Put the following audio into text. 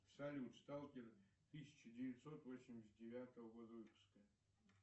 салют сталкер тысяча девятьсот восемьдесят девятого года выпуска